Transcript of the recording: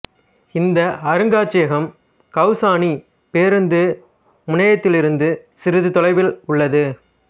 இந்த அருங்காட்சியகம் கௌசானி பேருந்து முனையத்திலிருந்து சிறிது தொலைவில் உள்ளது